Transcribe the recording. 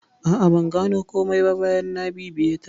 A'a, ban gano komai ba bayan na bibiye ta.